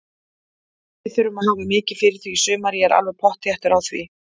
Við þurfum að hafa mikið fyrir því í sumar, ég er alveg pottþéttur á því.